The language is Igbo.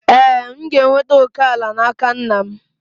Ee, m ga-enweta òkè ala n'aka nna m